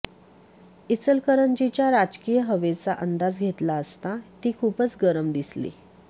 इचलकरंजीच्या राजकीय हवेचा अंदाज घेतला असता ती खूपच गरम दिसली